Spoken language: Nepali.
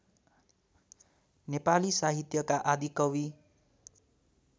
नेपाली साहित्यका आदिकवि